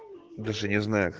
даже не